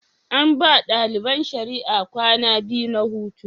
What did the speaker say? An ba ɗaliban shari'a kwanaki biyu na hutu.